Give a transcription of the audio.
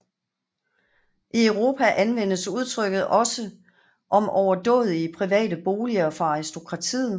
I Europa anvendes udtrykket også om overdådige private boliger for aristokratiet